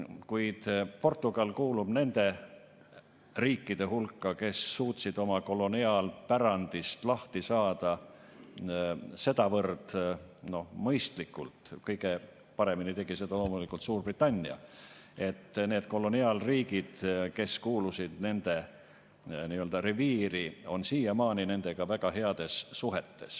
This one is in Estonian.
Kuid Portugal kuulub nende riikide hulka, kes suutsid oma koloniaalpärandist lahti saada sedavõrd mõistlikult – kõige paremini tegi seda loomulikult Suurbritannia –, et need koloniaalriigid, kes kuulusid nende reviiri, on siiamaani nendega väga heades suhetes.